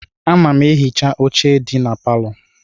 Ana m ehicha oche ndị dị na palọ.